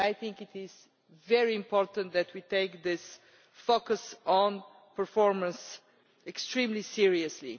I think it is very important that we take this focus on performance extremely seriously.